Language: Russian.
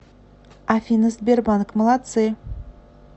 афина сбербанк молодцы